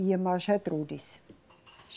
e a irmã Gertrudes.